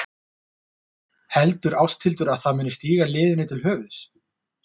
Heldur Ásthildur að það muni stíga liðinu til höfuðs?